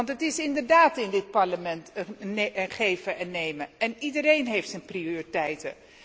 Het is inderdaad in dit Parlement een geven en nemen en iedereen heeft zijn prioriteiten.